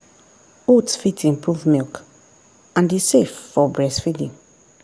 oats fit improve milk and e safe for breastfeeding.